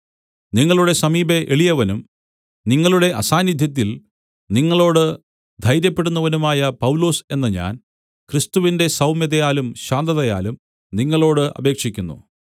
നിങ്ങളുടെ സമീപെ എളിയവനും നിങ്ങളുടെ അസാന്നിദ്ധ്യത്തിൽ നിങ്ങളോട് ധൈര്യപ്പെടുന്നവനുമായ പൗലൊസ് എന്ന ഞാൻ ക്രിസ്തുവിന്റെ സൗമ്യതയാലും ശാന്തതയാലും നിങ്ങളോട് അപേക്ഷിക്കുന്നു